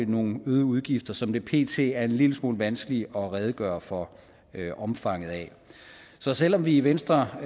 nogle øgede udgifter som det pt er en lille smule vanskeligt at redegøre for omfanget af så selv om vi i venstre